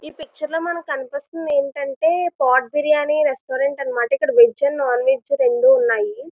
ఈ పిక్చర్ లో మనకి కనిపిస్తుంది ఏంటంటే పోటీ బిర్యానీ రెస్టారెంట్ అన్నమాట వెజ్ అండ్ నాన్-వెజ్ రెండు ఉన్నాయి.